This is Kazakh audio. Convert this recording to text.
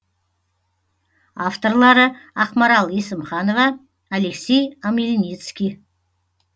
авторлары ақмарал есімханова алексей омельницкий